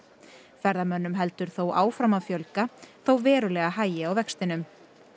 ferðamönnum heldur þó áfram að fjölga þó verulega hægi á vextinum